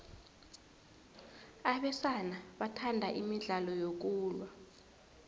abesana bathanda imidlalo yokulwa